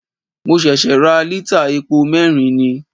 Mo ṣẹ̀ṣẹ̀ ra lítà epo mẹ́rin ni.